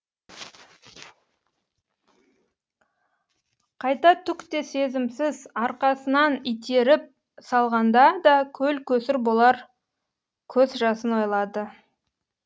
қайта түк те сезімсіз арқасынан итеріп салғанда да көл көсір болар көз жасын ойлады